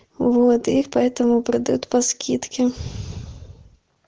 воот и поэтому продают по скидке